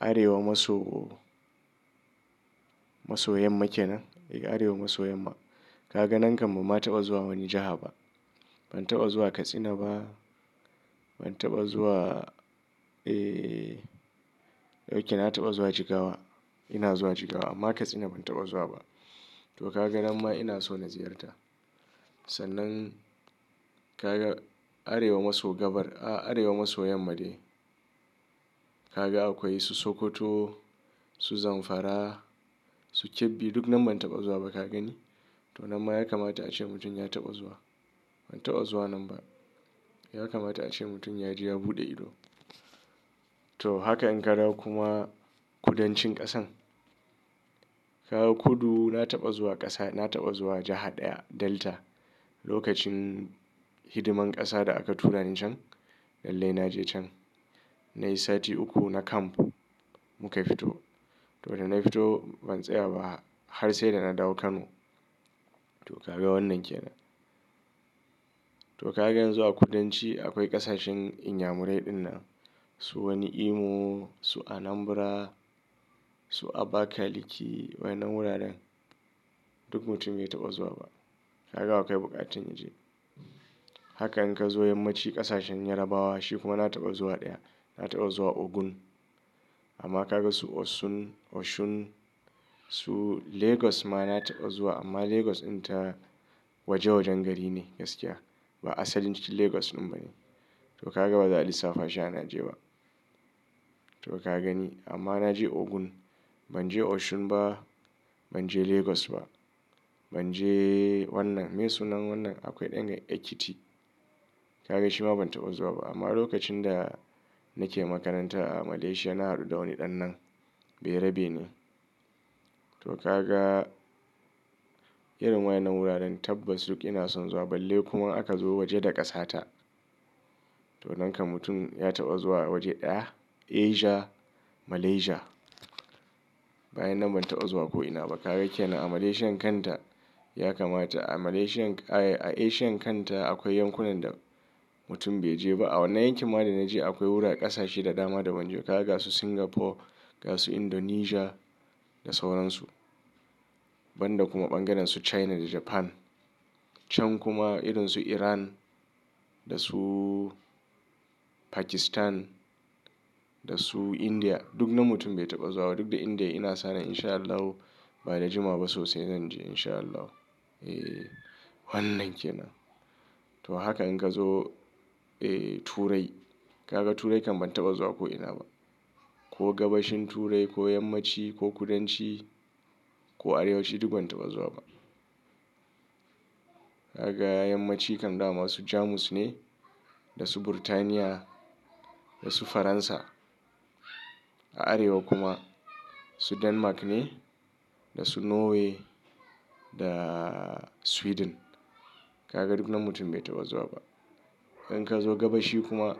Arewa maso, maso yammake nan? Eh Arewa maso yamma. Ka ga nan kam ma taɓa zuwa wani jiha ba. Ban taɓa zuwa Katsina ba, ban taɓa zuwa, eh ok na taɓa zuwa Jigawa. Ina zuwa Jigawa amma Katsina ban taɓa zuwa ba. To ka ga nan ma ina so na ziyarta. Sannan ka ga Arewa maso gabar, ah Arewa maso yamma dai. Ka ga akwai su Sokoto, su Zamfara, su Kebbi duk nan ban taɓa zuwa ba ka gani. To nan ma ya kamata ace mutum ya taɓa zuwa. Ban taɓa zuwa nan ba. Ya kamata ace mutum yaje ya buɗe ido. To haka in ka zo kuma kudancin ƙasan. Ka ga kudu na taɓa zuwa ƙasa, na taɓa zuwa jiha ɗaya Delta. Lokacin hidiman ƙasa da aka tura ni can lallai na je can. Nai sati uku na camp muka fito. To da na fito ban tsaya ba har sai da na dawo Kano. To ka ga wannan ke nan. To ka ga yanzu a kudanci akwai ƙasashen Inyamurai din nan. Su wani Imo, su Anambra, su Abakaliki wayanna wuraren duk mutum bai taɓa zuwa ba. Ka ga akwai buƙatun in je. Haka in ka zo yammaci ƙasashen Yarabawa shi kuma na taɓa zuwa ɗaya. Na taɓa zuwa Ogun amma ka ga su Osun, Osun su Lagos ma na taɓa zuwa amma Lagos dinta waje wajen gari ne gaskiya. Ba asalin cikin Lagos din ba ne. To ka ga baza lissafa sha na je ba. To ka gani amma na je Ogun ban je Osun ba, ban je Lagos ba. Ban je wannan mai sunan wannan akwai ɗan ga Ekiti. Ka ga shi ma ban taɓa zuwa ba amma lokacin da nake makaranta a Malaysia na haɗu da wani ɗan nan. Berabe ne. To ka ga irin wayan nan wuraren tabbas duk ina son zuwa balle kuma aka zo waje da ƙasa ta to nan kam mutum ya taɓa zuwa waje ɗaya Asia, Malaysia. Bayan nan ban taɓa zuwa ko'ina ba. Ka ga ke nan a Malaysian kanta ya kamata a Malaysian, eh a Asian kanta akwai yankunan da mutum bai je ba. A wannan yanki ma da na je akwai wura ƙasashe da dama da ban je ba. Ka ga su Singapore, ga su Indonesia da sauransu. Banda kuma bangaren su China da Japan. Can kuma irin su Iran da su Pakistan da su India duk nan mutum bai taɓa zuwa ba. Duk da India ina sane insha Allahu ba da juma wa ba sosai zan je insha Allahu. Eh wannan ke nan. To haka in ka zo, eh Turai. Ka ga Turai kam ban taɓa zuwa ko'ina ba. Ko gabashin Turai ko yammaci ko kudanci ko arewanci duk ban taɓa zuwa ba. Ka ga yammaci kam da ma su Jamus ne da su Birtaniya da su Faransa. A Arewa kuma su Denmark ne da su Norway da Sweden. Ka ga duk nan mutum bai taɓa zuwa ba. In ka zo gabashi kuma.